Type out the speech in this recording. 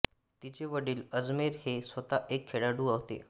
तिचे वडील अजमेर हे स्वतः एक खेळाडू होते